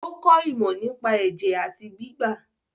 Ó kọ ìmọ̀ nípa ẹ̀jẹ̀ àti gbígbà.